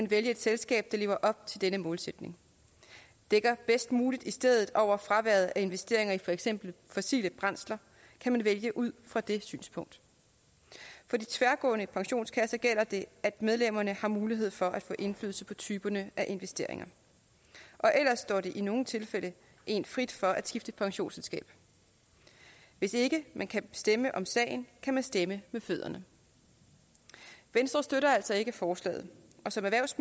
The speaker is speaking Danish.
vælge et selskab der lever op til denne målsætning dækker bedst muligt i stedet over fraværet af investeringer i for eksempel fossile brændsler kan man vælge ud fra det synspunkt for de tværgående pensionskasser gælder det at medlemmerne har mulighed for at få indflydelse på typerne af investeringer ellers står det i nogle tilfælde en frit for at skifte pensionsselskab hvis ikke man kan stemme om sagen kan man stemme med fødderne venstre støtter altså ikke forslaget som erhvervs